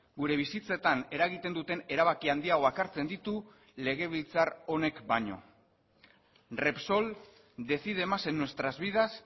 gure bizitzetan eragiten duten erabaki handiagoak hartzen ditu legebiltzar honek baino repsol decide más en nuestras vidas